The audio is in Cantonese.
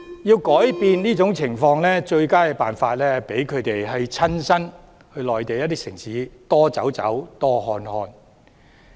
要改變這種情況，最佳辦法是讓他們親身到內地城市多走走、多看看。